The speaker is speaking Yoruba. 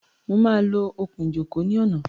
Mo máa lo okùn-ìjókòó ní ọ̀nà.